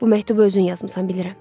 Bu məktubu özün yazmısan, bilirəm.